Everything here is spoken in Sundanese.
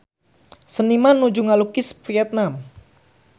Seniman nuju ngalukis Vietman